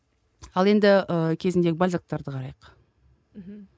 ал енді ы кезіндегі бальзактарды қарайық мхм